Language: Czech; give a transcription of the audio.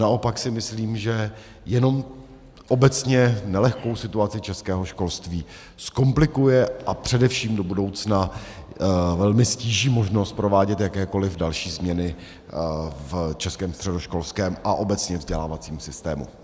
Naopak si myslím, že jenom obecně nelehkou situaci českého školství zkomplikuje a především do budoucna velmi ztíží možnost provádět jakékoli další změny v českém středoškolském a obecně vzdělávacím systému.